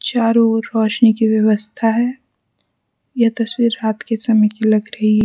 चारो ओर रोशनी की व्यवस्था है यह तस्वीर रात के समय की लग रही है।